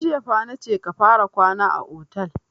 Tun jiya fa na ce ka fara kwana a otel!